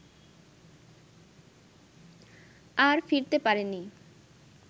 আর ফিরতে পারেন নি